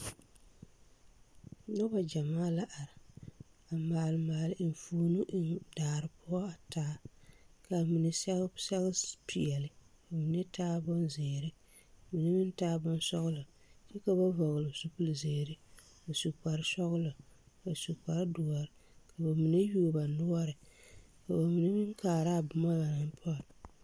Nobɔ gyɛmaa la are a maale maale enfuomo eŋ daare poɔ taa, k'a mine sɛge sɛge peɛle ka mine taa bonzeere ka mine meŋ taa bonsɔgelɔ kyɛ ka bayi hɔgele zupili zeere a su kpare sɔgelɔ a su kpare doɔre ka bamine yuo ba noɔre ka bamine meŋ kaara a boma ba naŋ pɔnne.